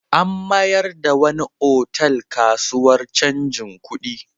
An mayar da wani otal kasuwar canjin kuɗi.